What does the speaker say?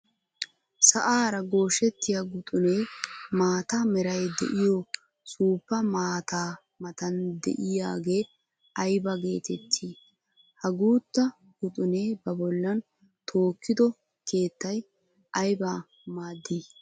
Sa'aara gooshettiya guxunne maata meray de'oy suufa maataa matan de'iyaage aybba geteetti? Ha guuta guxunne ba bollan tookido keettay aybba maadi?